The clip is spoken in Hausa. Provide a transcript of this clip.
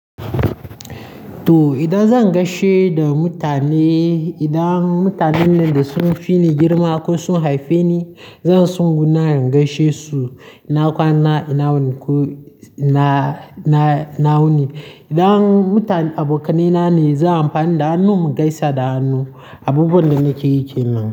To idan zan gaishe da mutane, idan mutanen da sun fi ni girma ko sun haife ni, zan tso gunan inz gaishe su. Na kwana, ina wuni ko ina, ina, ina wuni. Idan mutum, abokanai na ne, zan amfani da hannun gaisa da hannu. Abu wanda nake yi ke nan.